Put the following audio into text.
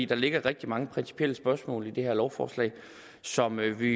der ligger rigtig mange principielle spørgsmål i det her lovforslag som vi